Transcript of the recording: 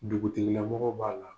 Dugutigilamɔgɔ b'a la.